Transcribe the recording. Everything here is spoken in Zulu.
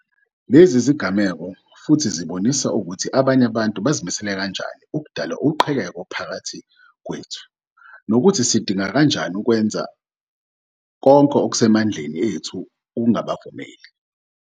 Lezi zigameko futhi zibonisa ukuthi abanye abantu bazimisele kanjani ukudala uqhekeko phakathi kwethu, nokuthi sikudinga kanjani ukwenza konke okuse mandleni ethu ukungabavumeli.